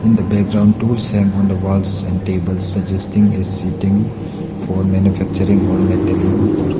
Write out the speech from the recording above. in the background tools hanged on the walls and table suggesting a setting for manufacturing all metaling work.